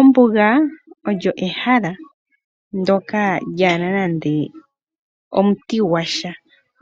Ombuga olyo ehala ndyoka lyaana nande omuti gwasha.